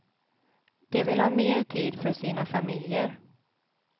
De vill ha mer tid för sina familjer.